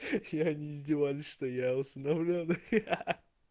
я не издеваюсь что я усыновлён